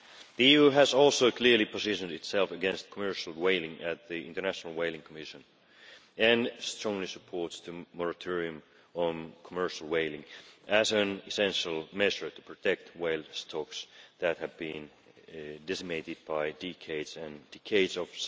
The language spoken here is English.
The EU has also clearly positioned itself against commercial whaling at the International Whaling Commission and strongly supports the moratorium on commercial whaling as an essential measure to protect whale stocks that have been decimated by decades and decades of